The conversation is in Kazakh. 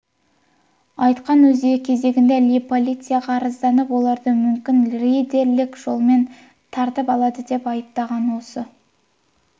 айтқан өз кезегінде ли полицияға арызданып оларды мүлкін рейдерлік жолмен тартып алды деп айыптаған осы